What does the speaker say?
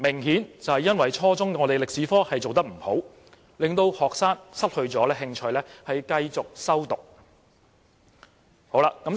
顯然因為初中中史科的安排有欠妥善，令學生失去興趣繼續修讀。